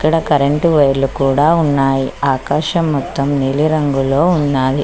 ఇక్కడ కరెంట్ వైర్లు లు కూడా ఉన్నాయి ఆకాశం మొత్తం నీలి రంగులో ఉన్నాది.